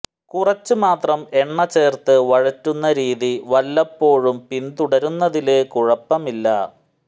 കുറച്ച് മാത്രം എണ്ണ ചേര്ത്ത് വഴറ്റുന്ന രീതി വല്ലപ്പോഴും പിന്തുടരുന്നതില് കുഴപ്പമില്ല